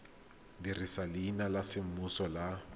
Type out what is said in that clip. dirisa leina la semmuso le